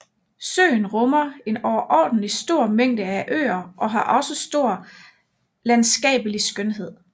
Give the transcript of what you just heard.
Søen rummer en overordentlig stor mængde af øer og har også stor landskabelig skønhed